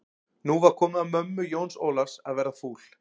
Nú var komið að mömmu Jóns Ólafs að verða fúl.